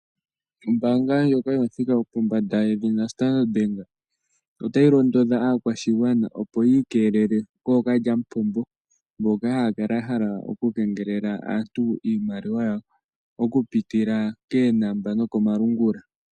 Ombaanga ndjoka yomuthika gwo pombanda yedhina Standard bank, ota yi londodha aakwashigwana opo yi ikelele kookalyamupombo mboka haya kala ya hala oku kengelela aantu iimaliwa ya wo oku pitila keenamba no komalungula.